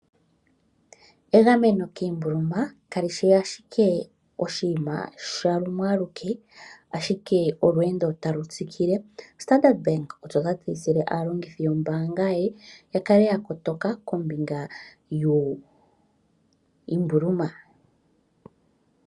Egameno kiimbuluma kali shi ashike oshiima sha lumwe aluke, ashike olweendo talu tsikile. Standard Bank osho ta tseyithile aalongithi yombaanga ye ya kale ya kotoka kombinga yiimbuluma.